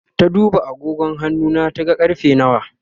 ta duba agogon hannuna ta ga karfe nawa